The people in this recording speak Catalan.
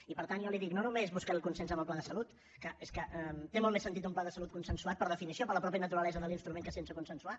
i per tant jo li dic no només buscaré el consens en el pla de salut que és que té molt més sentit un pla de salut consensuat per definició per la mateixa naturalesa de l’instrument que sense consensuar